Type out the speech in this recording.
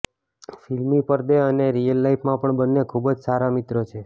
ફિલ્મી પરદે અને રિયલ લાઈફમાં પણ બંને ખુબ જ સારા મિત્રો છે